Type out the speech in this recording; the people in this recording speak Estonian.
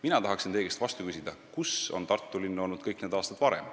Mina tahaksin teie käest vastu küsida, kus on Tartu linn olnud kõik need aastad varem.